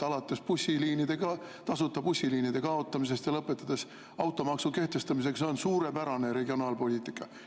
Alates tasuta bussiliinide kaotamisest ja lõpetades automaksu kehtestamisega – see on suurepärane regionaalpoliitika.